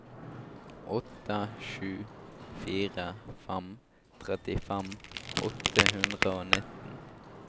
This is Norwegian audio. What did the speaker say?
åtte sju fire fem trettifem åtte hundre og nitten